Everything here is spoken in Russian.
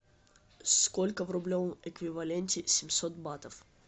сколько в рублевом эквиваленте семьсот батов